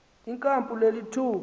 inkampu le lithuba